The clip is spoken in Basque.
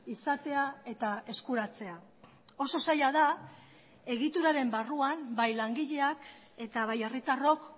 izatea eta eskuratzea oso zaila da egituraren barruan bai langileak eta bai herritarrok